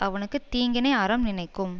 அவனுக்கு தீங்கினை அறம் நினைக்கும்